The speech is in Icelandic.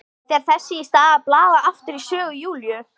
Fer þess í stað að blaða aftur í sögu Júlíu.